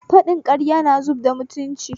Faɗin ƙarya na zubarda mutunci